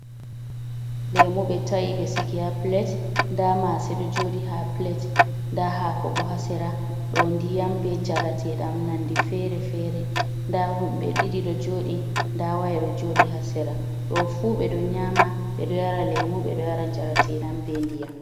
Lemu ɓe ta’i ɓe sigi ha plet, nda mase ɗo joɗi ha plet nda hako bo ha sera ɗo ndiyam be njarateɗam nonde fere-fere, nda woɓɓe ɓe ɗiɗi ɓe ɗo jodi nda waye do jodi ha sera, ɗo fu ɓeɗo nyama ɓe ɗo yara, lemuɓe ɗo yara njarateɗam ɓe ndiyam.